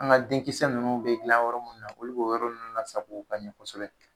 An ka denkisɛ ninnu bɛ dilan yɔrɔ munni na olu b'o yɔrɔ ninnu lasogo ka ɲɛ kosɛbɛ